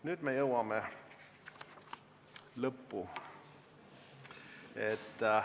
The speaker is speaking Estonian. Nüüd me jõuame lõppu.